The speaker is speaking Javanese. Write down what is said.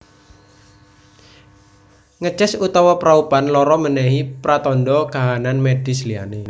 Ngeces utawa praupan lara menehi pratandha kahanan medis liyane